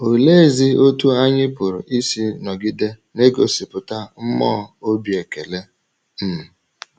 Oleezi otú anyị pụrụ isi nọgide na-egosipụta mmụọ obi ekele? um